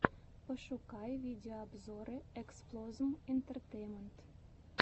пошукай видеообзоры эксплозм интертеймент